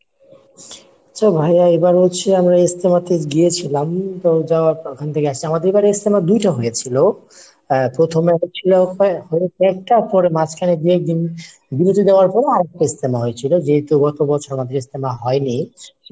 আচ্ছা ভাইয়া এবার হচ্ছে আমরা ইজতেমাতে গিয়েছিলাম তো যাওয়ার প্রথম থেকেই আসছি, আমাদের এবারের ইজতেমা দুইটা হয়েছিল আহ প্রথমে হয়েছিল একটা, পরে মাঝখানে দুই একদিন বিরতি দেয়ার পরে আরেকটা ইজতেমা হয়েছিল যেহেতু আমাদের গতবছর হয়নি।